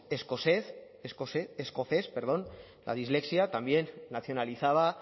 escocés también nacionalizaba